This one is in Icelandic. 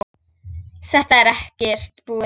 Þetta er ekkert búið.